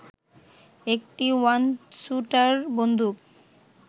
একটি ওয়ানস্যুটার বন্দুক